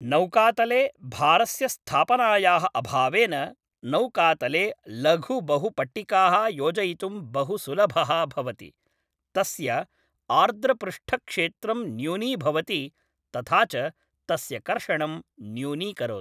नौकातले भारस्य स्थापनायाः अभावेन नौकातले लघुबहुपट्टिकाः योजयितुं बहुसुलभः भवति, तस्य आर्द्रपृष्ठक्षेत्रं न्यूनीभवति तथा च तस्य कर्षणं न्यूनीकरोति।